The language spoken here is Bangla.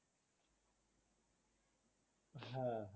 হ্যাঁ